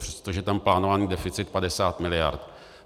Přestože je tam plánovaný deficit 50 mld.